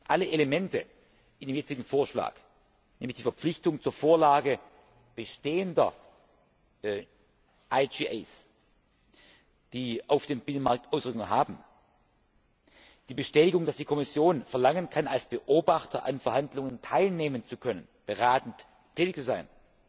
Alle Elemente in dem jetzigen Vorschlag, nämlich die Verpflichtung zur Vorlage bestehender IGA, die auf den Binnenmarkt Auswirkungen haben, die Bestätigung, dass die Kommission verlangen kann, als Beobachter an Verhandlungen teilnehmen zu können und beratend tätig zu sein,